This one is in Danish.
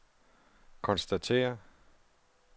konstatere